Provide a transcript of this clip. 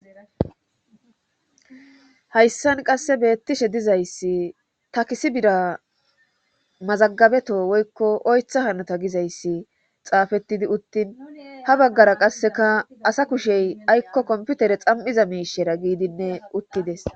hayssan qasse beettishe dizayssi takisii bira mazagabeto woykko oytha hanota gizayssi xaafettidi uttin ha baggara qasseka asa kushey aykko komputere xam7iza miishera giidinne uttides